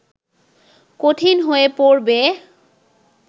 কঠিন হয়ে পড়বে